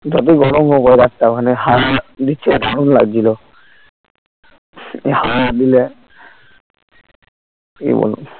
যতই গরম হোক ও রাস্তা মানে হাওয়া দিচ্ছে তো দারুন লাগছিলো হাওয়া দিলে কি বলবো